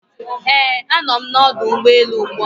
Ee, a nọ m n'ọdụ ụgbọ elu ugbua.